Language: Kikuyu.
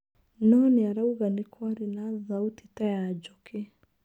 No nĩarauga nĩkwarĩ na thauti ta ya njũkĩ.